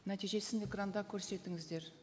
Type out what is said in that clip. нәтижесін экранда көрсетіңіздер